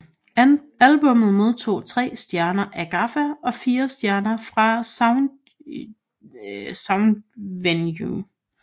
Albummet modtog tre stjerner af Gaffa og fire stjerner af Soundvenue